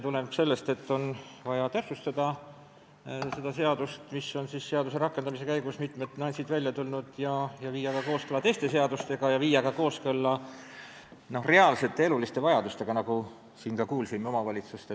Nimelt, seadust tuleb täpsustada, sest selle rakendamise ettevalmistamise käigus on mitmed nüansid välja tulnud ja on vaja viia see kooskõlla teiste seadustega ja ka reaalsete eluliste vajadustega omavalitsuste tulubaasi osas, nagu me siin kuulsime.